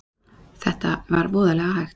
Þetta var voðalega hægt.